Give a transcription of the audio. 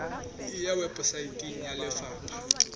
e ya weposaeteng ya lefapha